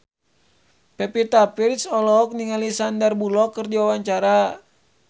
Pevita Pearce olohok ningali Sandar Bullock keur diwawancara